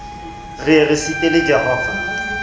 re ye re sitele jehova